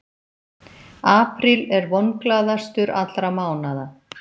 Apríl er vonglaðastur allra mánaða.